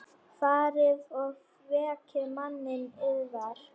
Farið og vekið manninn yðar.